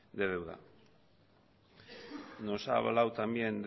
de deuda nos ha hablado también